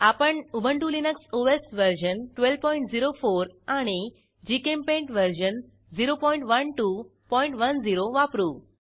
आपण Ubuntu Linux OS version 1204 आणि GChemPaint version 01210 वापरू